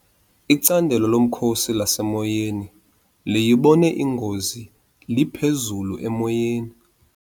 Icandelo lomkhosi lasemoyeni liyibone ingozi liphezulu emoyeni.